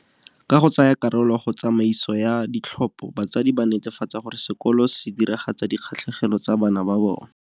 Ka go tsaya karolo go tsa maiso ya ditlhopho, batsadi ba netefatsa gore sekolo se diragatsa dikgatlhegelo tsa bana ba bona.